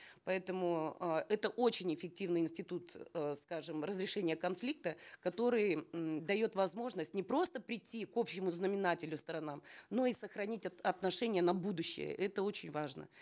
поэтому э это очень эффективный институт э скажем разрешения конфликта который м дает возможность не просто прийти к общему знаменателю сторонам но и сохранить отношения на будущее это очень важно